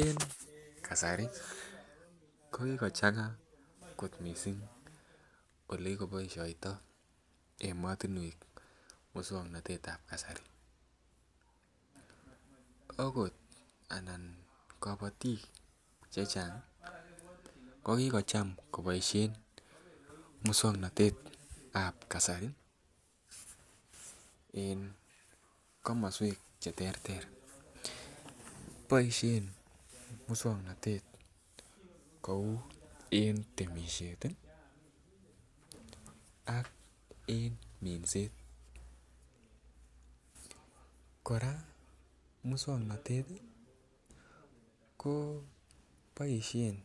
En kasari ko kikochanga kot mising Ole kikoboisioto emotinwek moswoknatetab kasari agot anan kabatik Che Chang ko ki kocham koboisien moswoknatet ab kasari en komoswek Che terter boisien moswoknatet kou en temisiet ak en minset kora moswoknatet ko boisien